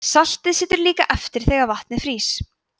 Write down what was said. saltið situr líka eftir þegar vatn frýs